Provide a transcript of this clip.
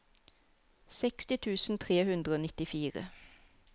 seksti tusen tre hundre og nittifire